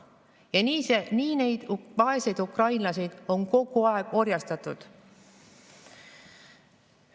Ja nii neid vaeseid ukrainlasi on kogu aeg orjastatud.